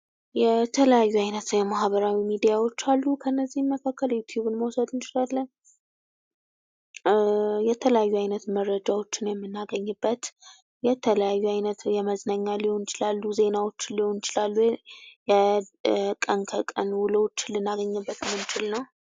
የተለያዩ ዓይነት ሰው የማህበራዊ ሚዲያዎች አሉ። ከእነዚህም መካከል ዩትዩብን መውሰድ እንችላለን። የተለያዩ አይነት መረጃዎችን የምናገኝበት የተለያዩ ዓይነት የመዝናኛ ሊሆኑ ይችላሉ፤ ዜናዎች ሊሆኑ ይችላሉ። የቀን ከቀን ውሎችን ልናገኝበት የምንችል ነው።